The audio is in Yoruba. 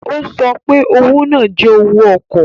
O so pe owo naa jẹ owó ọkọ.